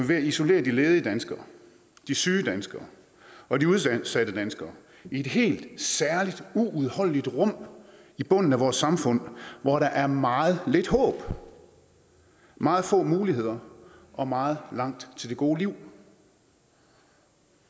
ved at isolere de ledige danskere de syge danskere og de udsatte danskere i et helt særligt uudholdeligt rum i bunden af vores samfund hvor der er meget lidt håb meget få muligheder og meget langt til det gode liv